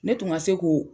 Ne tun ka se k'o